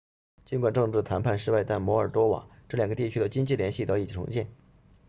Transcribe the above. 尽管政治谈判失败但摩尔多瓦这两个地区的经济联系得以重建